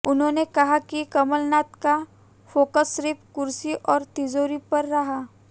उन्होंने कहा कमलनाथ का फोकस सिर्फ कुर्सी और तिजोरी पर रहा